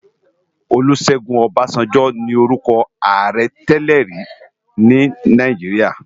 Olusegun Obasanjo ni órùkò àárè tèlèri ni Náijiriá